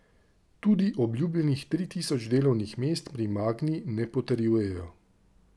Tudi obljubljenih tri tisoč delovnih mest pri Magni ne potrjujejo.